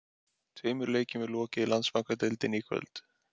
Tveimur leikjum er lokið í Landsbankadeildinni í kvöld.